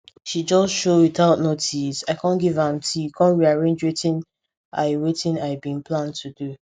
she just show without notice i com give am tea com rearrange wetin i wetin i bin plan to do